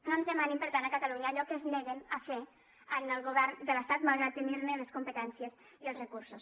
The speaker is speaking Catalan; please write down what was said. no ens demanin per tant a catalunya allò que es neguen a fer en el govern de l’estat malgrat tenir ne les competències i els recursos